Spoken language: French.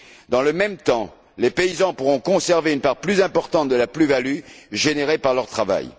Dans le même temps, les paysans pourront conserver une part plus importante de la plus value générée par leur travail.